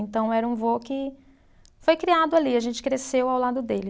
Então, era um vô que foi criado ali, a gente cresceu ao lado dele.